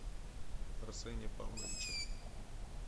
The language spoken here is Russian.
арсене павловиче